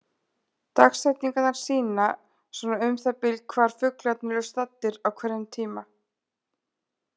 Dagsetningarnar sýna svona um það bil hvar fuglarnir eru staddir á hverjum tíma.